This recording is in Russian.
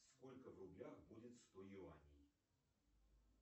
сколько в рублях будет сто юаней